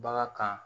Bagan kan